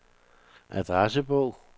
adressebog